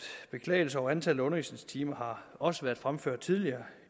beklagelser over antallet af undervisningstimer også har været fremført tidligere